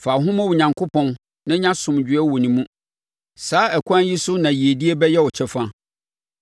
“Fa wo ho ma Onyankopɔn na nya asomdwoeɛ wɔ ne mu; saa ɛkwan yi so na yiedie bɛyɛ wo kyɛfa.